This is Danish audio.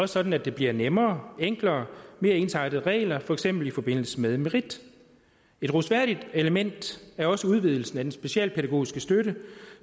sådan at der bliver nemmere enklere mere ensartede regler for eksempel i forbindelse med merit et rosværdigt element er også udvidelsen af den specialpædagogiske støtte